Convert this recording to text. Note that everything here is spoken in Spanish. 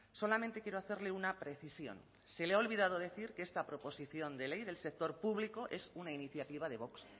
solamente quiero hacerle una precisión se le ha olvidado decir que esta proposición de ley del sector público es una iniciativa de vox